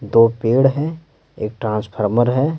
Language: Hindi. दो पेड़ हैं एक ट्रांसफार्म है।